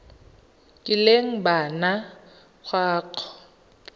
kileng ba nna kwa go